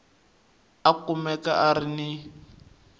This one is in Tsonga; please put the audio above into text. a kumeka a ri ni